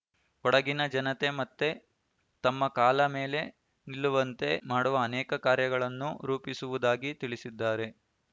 ಕೊಡಗಿನ ಜನತೆ ಮತ್ತೆ ತಮ್ಮ ಕಾಲ ಮೇಲೆ ನಿಲ್ಲುವಂತೆ ಮಾಡುವ ಅನೇಕ ಕಾರ್ಯಗಳನ್ನು ರೂಪಿಸುವುದಾಗಿ ತಿಳಿಸಿದ್ದಾರೆ